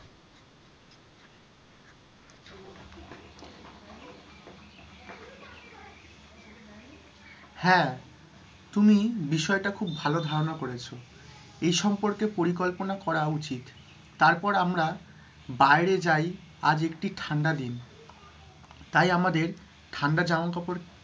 হ্যাঁ, তুমি, বিষয়টা খুব ভালো ধারণা করেছো, এই সম্পর্কে পরিকল্পনা করা উচিৎ, তারপর আমরা বাইরে যাই, আজ একটি ঠান্ডা দিন, তাই আমাদের ঠান্ডার জামাকাপড়,